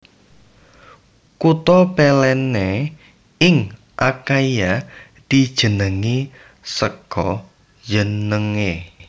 Kutha Pellene ing Akhaia dijenengi saka jenengé